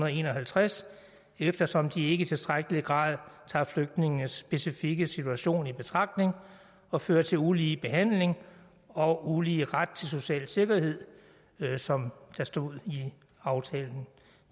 en og halvtreds eftersom de ikke i tilstrækkelig grad tager flygtningenes specifikke situation i betragtning og fører til ulige behandling og ulige ret til social sikkerhed som der stod i aftalen